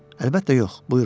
Əlbəttə yox, buyurun.